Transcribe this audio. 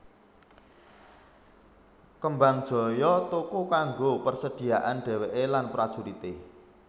Kembangjoyo tuku kanggo persediaan dhèwèké lan prajurité